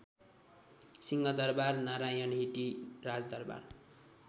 Singha Durbar Narayanhiti राजदरवार